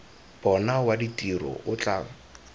bona wa ditiro o tla